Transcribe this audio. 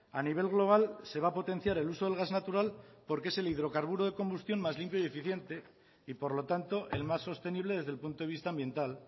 a nivel global se va a potenciar el uso del gas natural porque es el hidrocarburo de combustión más limpio y eficiente y por lo tanto el más sostenible desde el punto de vista ambiental